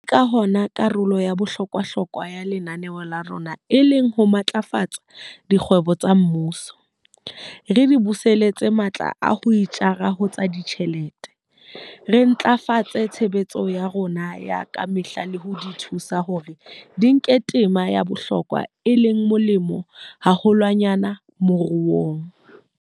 Ke ka hona karolo ya bohlokwahlokwa ya lenaneo la rona e leng ho matlafatsa dikgwebo tsa mmuso, re di buseletsa matla a ho itjara ho tsa ditjhelete, re ntlafatsa tshebetso ya tsona ya ka mehla le ho di thusa hore di nke tema ya bohlokwa le e molemo haholwanyane moruong.